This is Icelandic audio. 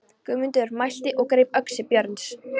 Guðmundur mælti og greip öxi Björns.